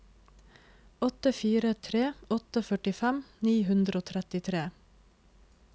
åtte fire tre åtte førtifem ni hundre og trettitre